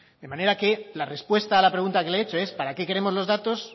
de manera que la respuesta a la pregunta que le he hecho es para qué queremos los datos